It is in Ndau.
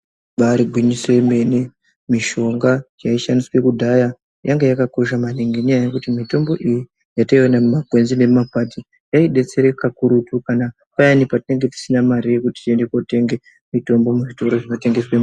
Ibaari gwinyise yemene. Mitombo yaishandiswe kudhaya yanga yakakosha maningi, ngenyaya yekuti mitombo iyi, yataiwana mumakwenzi nemumakwati, yaidetsera kakurutu kana payani patinenge tisina mare yekuti tienda kotenge mitombo muzvitoro zvinotengeswa mitombo.